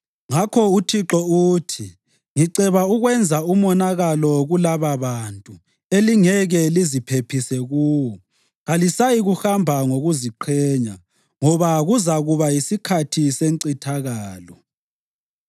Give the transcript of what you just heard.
Ngakho uThixo uthi: “Ngiceba ukwenza umonakalo kulababantu, elingeke liziphephise kuwo. Kalisayikuhamba ngokuziqhenya, ngoba kuzakuba yisikhathi sencithakalo.